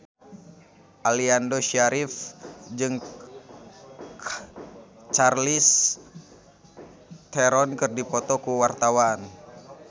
Aliando Syarif jeung Charlize Theron keur dipoto ku wartawan